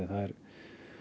það er